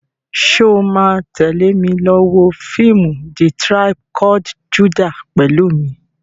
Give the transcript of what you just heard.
Ṣo ma tẹ́lè mi lọ wọ fíìmù "The tribe called Judah" pẹ̀lú mi?